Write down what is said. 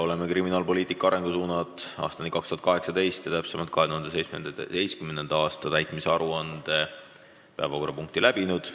Oleme "Kriminaalpoliitika arengusuundade aastani 2018" 2017. aasta täitmise aruande arutelu lõpetanud.